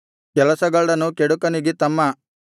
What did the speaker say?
ಕೆಲಸಗಳ್ಳನು ಕೆಡುಕನಿಗೆ ತಮ್ಮ